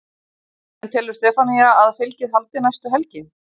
En telur Stefanía að fylgið haldi næstu helgi?